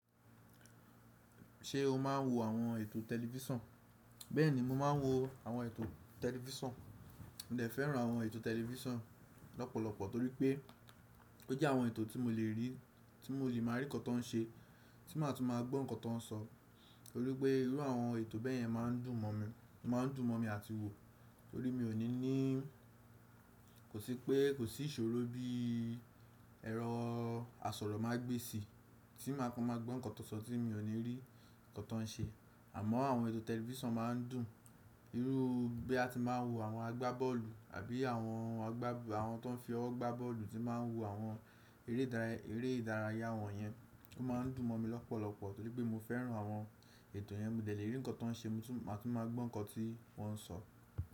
Ṣé o máa ń wo àwọn ètò tẹlifísàn? Bẹ́ẹ̀ni, mo máa ń wo àwọn ètò tẹlifísàn. Mo dẹ̀ fẹ́ràn àwọn ètò tẹlifísàn lọ́pọ̀lọpọ̀ torí pé ó jẹ́ àwọn ètò tí mo lè rí, tí mo lè máa rí ǹkàn tó ń ṣe, tí màá tún máa gbọ́ ǹkàn tó ń sọ. Torí pé irú àwọn ètò bẹ́yẹn máa ń dùn mọ mi. Óma ń dùn mọ́mi àti wò tó rí mi o. Kò sí pé kò sí ìṣòro bí ẹ̀rọ asọ̀rọ̀mágbésí tí màá kan máa gbọ́ ǹkàn tó ń sọ tí mi ò ní rí ǹkàn tó ń ṣe. Àmọ́ àwọn ètò tẹlifísàn máa ń dùn. Irú bí ya ti máa ń wo àwọn àgbábọ́ọ̀lù àbí àwọn tó ń fi ọwọ́ gbá bọ́ọ̀lù tí màá ń wo àwọn eré ìdárayá wọn yẹn, ó máa ń dùn mọ mi lọ́pọ̀lọpọ̀ torí pé mo fẹ́ràn àwọn ètò yẹn. Mo dẹ̀ lè rí ǹkàn tó ń ṣe, mo tún máa tún maa gbọ́ ǹkàn tí wọ́n ń sọ.